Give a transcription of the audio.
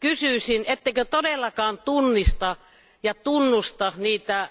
Kysyisin, ettekö todellakaan tunnista ja tunnusta niitä